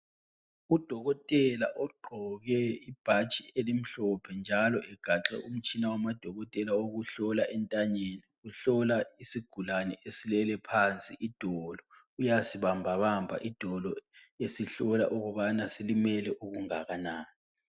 Udokotela ogqoke ibhatshi elimhlophe njalo egaxe umtshina wamadokotela owokuhlola entanyeni, uhlola isigulane esilele phansi idolo uyasibambabamba idolo esihlola ukubana silimele okungakanani.